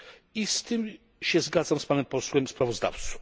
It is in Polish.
i z tym się zgadzam z panem posłem sprawozdawcą.